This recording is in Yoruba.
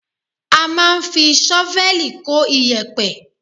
A máa ń fi ṣọ́fẹ́ẹ̀lì kó iyẹ̀pẹ̀